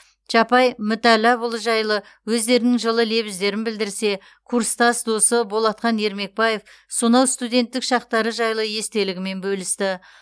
чапай мүтәлләпұлы жайлы өздерінің жылы лебіздерін білдірсе курстас досы болатхан ермекбаев сонау студенттік шақтары жайлы естелігімен бөлісті